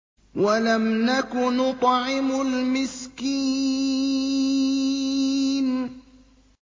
وَلَمْ نَكُ نُطْعِمُ الْمِسْكِينَ